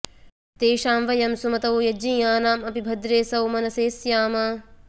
तेषां वयं सुमतौ यज्ञियानां अपि भद्रे सौमनसे स्याम